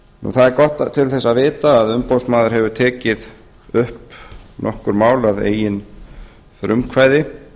það er gott til þess að vita að umboðsmaður hefur tekið upp nokkur mál að eigin frumkvæði